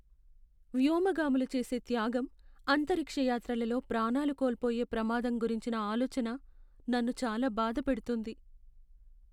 వ్యోమగాములు చేసే త్యాగం, అంతరిక్ష యాత్రలలో ప్రాణాలు కోల్పోయే ప్రమాదం గురించిన ఆలోచన నన్ను చాలా బాధపెడుతుంది.